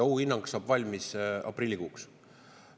Ohuhinnang saab valmis aprillikuuks.